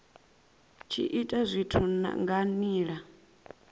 tshi ita zwithu nga nila